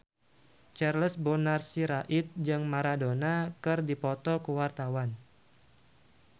Charles Bonar Sirait jeung Maradona keur dipoto ku wartawan